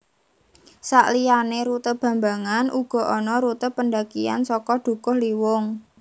Sakliyané rute bambangan uga ana rute pendakian saka Dukuhliwung